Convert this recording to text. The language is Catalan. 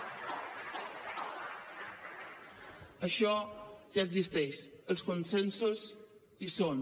això ja existeix els consensos hi són